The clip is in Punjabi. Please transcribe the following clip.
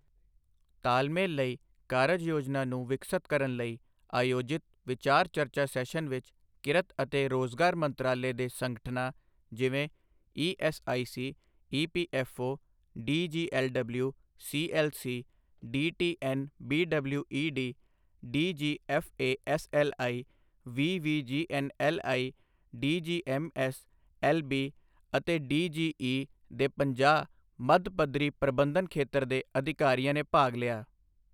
ਤਾਲਮੇਲ ਲਈ ਕਾਰਜ ਯੋਜਨਾ ਨੂੰ ਵਿਕਸਤ ਕਰਨ ਲਈ ਆਯੋਜਿਤ ਵਿਚਾਰ ਚਰਚਾ ਸੈਸ਼ਨ ਵਿੱਚ ਕਿਰਤ ਅਤੇ ਰੋਜ਼ਗਾਰ ਮੰਤਰਾਲੇ ਦੇ ਸੰਗਠਨਾਂ ਜਿਵੇਂ ESIC, EPFO, DGLW, CLC, DTNBWED, DGFASLI, VVGNLI, DGMS, LB ਅਤੇ ਡੀਜੀਈ ਦੇ ਪੰਜਾਹ ਮੱਧ ਪੱਧਰੀ ਪ੍ਰਬੰਧਨ ਖੇਤਰ ਦੇ ਅਧਿਕਾਰੀਆਂ ਨੇ ਭਾਗ ਲਿਆ।